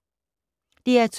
DR2